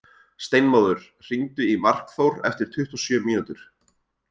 Steinmóður, hringdu í Markþór eftir tuttugu og sjö mínútur.